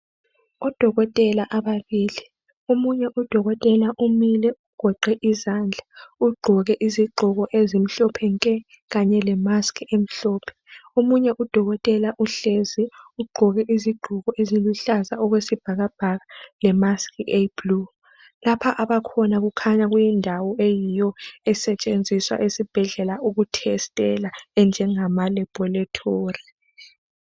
Odokotela ababili, omunye udokotela umile ugoqe izandla ugqoke izigqoko ezimhlophe nke kange lemask emhlophe, omunye udokotela uhlezi ugqoke izigqoko eziluhlaza okwesibhakabhaka lemask eyiblue. Lapha abakhona kukhanya kuyindawo eyiyo esetshenziswa esibhedlela ukuthesitela enjengamalaboratory.